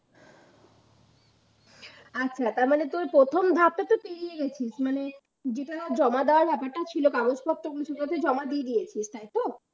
আচ্ছা তারমানে তুই প্রথম ধাপটা পেরিয়ে গেছিস জিনিসটা জমা দেওয়ার ব্যাপারটা যে ছিল কাগজপত্র জমা দিয়ে দিয়েছিস তাই তো